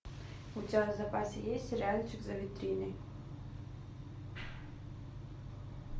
у тебя в запасе есть сериальчик за витриной